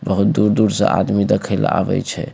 बहुत दूर-दूर से आदमी देखे ले आवे छै।